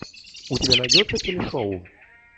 у тебя найдется телешоу